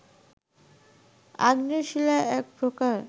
আগ্নেয় শিলা এক প্রকার